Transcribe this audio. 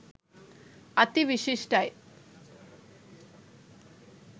අති විශිෂ්ඨයි.